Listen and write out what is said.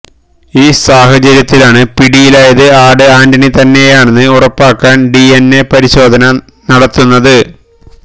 ഈ സാഹചര്യത്തിലാണ് പിടിയിലായത് ആട് ആന്റണി തന്നെയാണെന്ന് ഉറപ്പാക്കാന് ഡി എന് എ പരിശോധന നടത്തുന്നത്